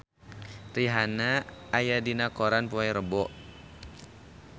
Rihanna aya dina koran poe Rebo